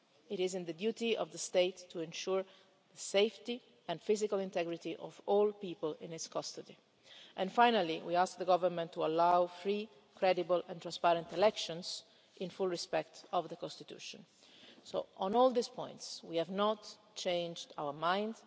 death. It is the duty of the State to ensure the safety and physical integrity of all people in its custody. Finally, we ask the Government to allow free, credible and transparent elections with full respect for the Constitution. On all these points, we have not changed our